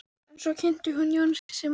En svo kynntist hún Jónasi sem var í